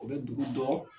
O bɛ dugu dɔ